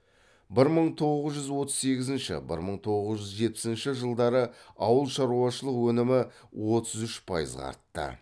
бір мың тоғыз жүз отыз сегізінші бір мың тоғыз жүз жетпісінші жылдары ауыл шаруашылық өнімі отыз үш пайызға артты